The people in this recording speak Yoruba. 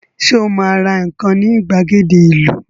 Sọ ma ra nǹkan ní ìgbàgede ìlú?